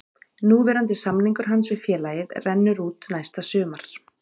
Núverandi samningur hans við félagið rennur út næsta sumar.